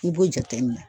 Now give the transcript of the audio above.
I b'o jateminɛ